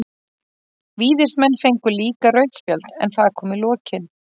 Víðismenn fengu líka rautt spjald, en það kom í lokin.